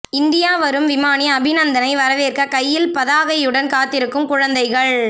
India வரும் விமானி அபிநந்தனை வரவேற்க கையில் பதாகையுடன் காத்திருக்கும் குழந்தைகள்